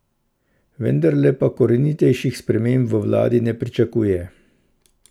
Vendarle pa korenitejših sprememb v vladi ne pričakuje.